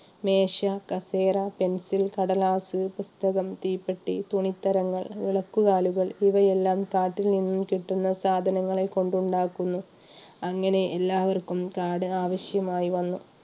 മേശ, കസേര, പെൻസിൽ, കടലാസ്, പുസ്തകം, തീപ്പെട്ടി, തുണിത്തരങ്ങൾ, വിളക്ക് കാലുകൾ ഇവയെല്ലാം കാട്ടിൽ നിന്ന് കിട്ടുന്ന സാധനങ്ങളെ കൊണ്ടുണ്ടാക്കുന്നു. അങ്ങനെ എല്ലാവർക്കും കാട് ആവശ്യമായി വന്നു